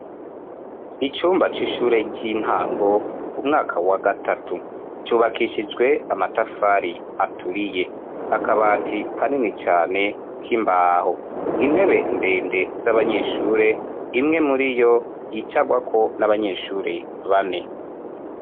Icumba c'ishure ry'intango umwaka wa gatatu cubakishijwe amatafari aturiye akabati kanini cane c'imbaho intebe ndende z'abanyeshure imwe muri yo yicagwako n'abanyeshure bane.